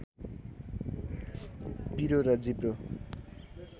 पिरो र जिब्रो